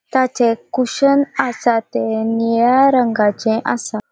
ताचे कुषन आसा ते निळ्या रंगाचे आसा.